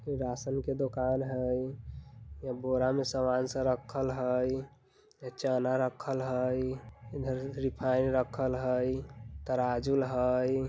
राशन की दुकान हई यह बोरा में सामान रखल हई इ चना रखल हई इधर रिफाइंड रखल हई तराजू हई।